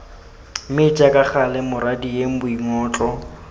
mme jaaka gale morwadie boingotlo